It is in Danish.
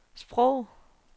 sprog